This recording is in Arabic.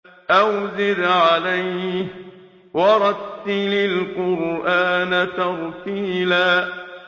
أَوْ زِدْ عَلَيْهِ وَرَتِّلِ الْقُرْآنَ تَرْتِيلًا